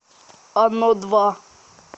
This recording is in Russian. оно два